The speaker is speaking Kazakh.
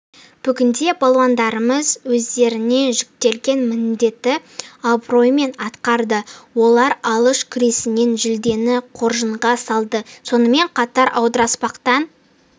бүгінде балуандарымыз өздеріне жүктелген міндетті абыроймен атқарды олар алыш күресінен жүлдені қоржынға салды сонымен қатар аударыспақтан